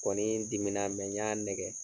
Kɔnii dimina n y'a nɛgɛ